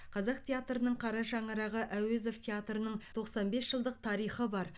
қазақ театрының қара шаңырағы әуезов театрының тоқсан бес жылдық тарихы бар